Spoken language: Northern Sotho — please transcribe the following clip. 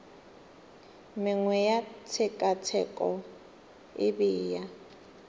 mengwe ya tshekatsheko e bea